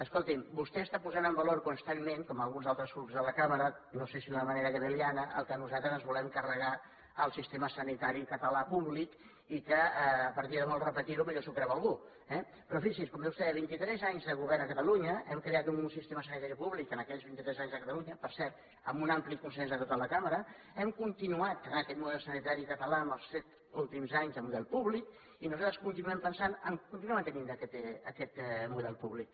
escolti’m vostè està posant en valor constantment com alguns altres grups de la cambra no sé si d’una manera goebbeliana que nosaltres ens volem carregar el sistema sanitari català públic i que a partir de molt repetir ho potser s’ho creu algú eh però fixi’s com deia vostè en vint i tres anys de govern a catalunya hem creat un sistema sanitari públic en aquells vinti tres anys a catalunya per cert amb un ampli consens de tota la cambra hem continuat amb aquest model sanitari català els set últims anys de model públic i nosaltres continuem pensant a continuar mantenint aquest model públic